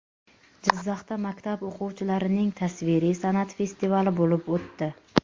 Jizzaxda maktab o‘quvchilarining tasviriy san’at festivali bo‘lib o‘tdi.